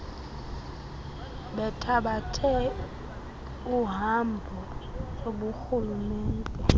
bethabathe iihambo zoburhulumente